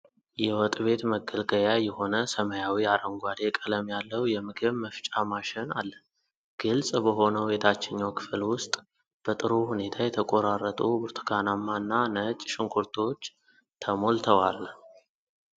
የወጥ ቤት መገልገያ የሆነ ሰማያዊ አረንጓዴ ቀለም ያለው የምግብ መፍጫ ማሽን አለ። ግልጽ በሆነው የታችኛው ክፍል ውስጥ በጥሩ ሁኔታ የተቆራረጡ ብርቱካናማ ና ነጭ ሽንኩርቶች ተሞልተዋል።